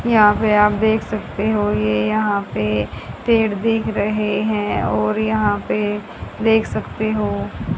यहां पे आप देख सकते हो ये यहां पे पेड़ दिख रहे हैं और यहां पे देख सकते हो।